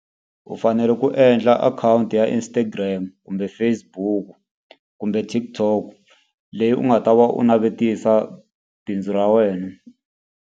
U fanele ku endla akhawunti ya Instagram, kumbe Facebook, kumbe TikTok leyi u nga ta va u navetisa bindzu ra wena.